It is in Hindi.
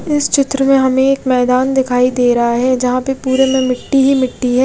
इस चित्र में हमे एक मैदान दिखाई दे रहा है जहा पे पुरे में मिट्टी ही मिट्टी है।